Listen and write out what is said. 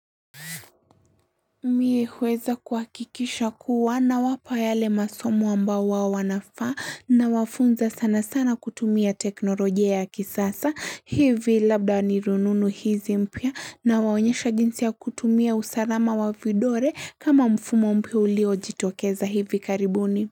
Mimi uweza kuakikisha kuwa nawapa yale masomo ambao wao wanafaa. Nawafunza sana sana kutumia teknolojia ya kisasa, hivi labda ni rununu hizi mpya na waonyesha jinsi ya kutumia usalama wa vidole. Kama mfumo mpya hulio jitokeza hivi karibuni.